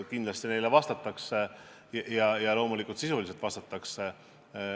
Kindlasti neile vastatakse ja loomulikult sisuliselt vastatakse.